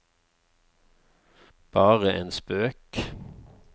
bare en spøk